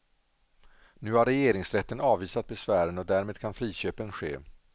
Nu har regeringsrätten avvisat besvären och därmed kan friköpen ske.